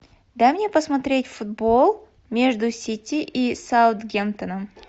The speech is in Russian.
дай мне посмотреть футбол между сити и саутгемптоном